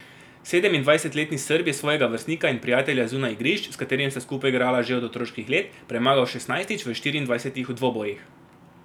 Sedemindvajsetletni Srb je svojega vrstnika in prijatelja zunaj igrišč, s katerim sta skupaj igrala že od otroških let, premagal šestnajstič v štiriindvajsetih dvobojih.